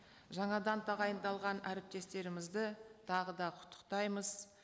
жаңадан тағайындалған әріптестерімізді тағы да құттықтаймыз